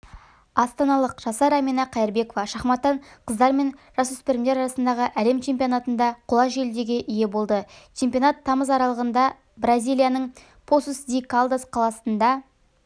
астаналық жасар әмина қайырбекова шахматтан қыздар мен жасөспірімдер арасындағы әлем чемпионатында қола жүлдеге ие болды чемпионат тамыз аралығында бразилияның посус-ди-калдас қаласында